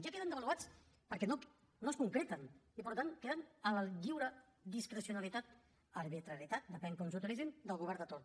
ja queden devaluats perquè no es concreten i per tant queden a la lliure discrecionalitat arbitrarietat depèn de com s’utilitzin del govern de torn